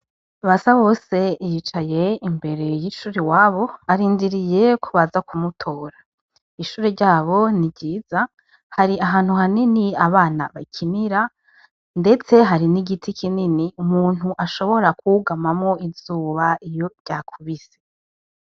Basabose yicaye imbere y'ishuri iwabo arindiriye ko baza kumutora ishuri ryabo ni ryiza hari ahantu hanini abana bakinira, ndetse hari n'igiti kinini umuntu ashobora kugamamwo izuba iyo ryakubise.